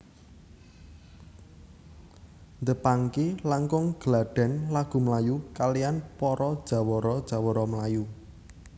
The Pangky langkung gladhen lagu melayu kaliyan para jawara jawara melayu